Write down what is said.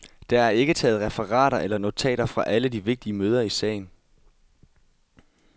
Der er ikke taget referater eller notater fra alle de vigtige møder i sagen.